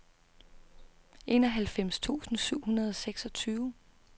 enoghalvfems tusind syv hundrede og seksogtyve